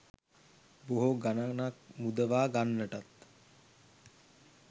බොහෝ ගණනක් මුදවා ගන්නටත්